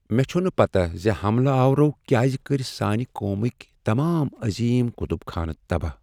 مےٚ چھنہٕ پتہ ز حملہ آورو کیٛاز کٔرۍ سانہ قومٕکۍ تمام عظیم کتب خانہٕ تباہ۔